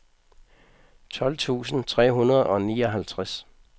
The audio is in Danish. tolv tusind tre hundrede og nioghalvtreds